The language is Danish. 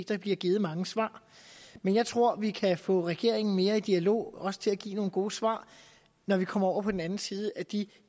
der blev givet mange svar men jeg tror vi kan få regeringen mere i dialog også til at give nogle gode svar når vi kommer over på den anden side af de